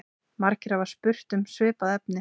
Margir hafa spurt um svipað efni.